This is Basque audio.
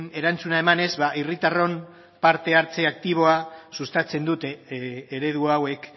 erantzuna emanez herritarron parte hartze aktiboa sustatzen dute eredu hauek